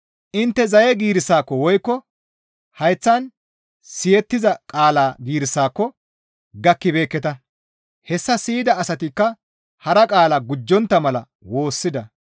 Intte zaye giirissaako woykko hayththan siyettiza qaala giirissaako gakkibeekketa; hessa siyida asatikka hara qaala gujjontta mala woossida.